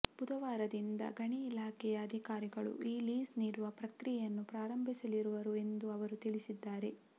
ಬುಧವಾರದಿಂದ ಗಣಿ ಇಲಾಖೆ ಯ ಅಧಿಕಾರಿಗಳು ಈ ಲೀಸ್ ನೀಡುವ ಪ್ರಕ್ರಿಯೆಯನ್ನು ಪ್ರಾರಂಭಿಸಲಿರುವರು ಎಂದು ಅವರು ತಿಳಿಸಿದ್ದಾರೆ